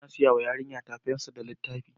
Ina saya wa yarinyata fensir da littafi.